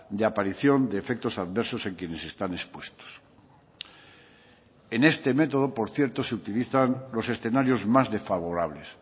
de aparición de efectos adversos en quienes están expuestos en este método por cierto se utilizan los escenarios más desfavorables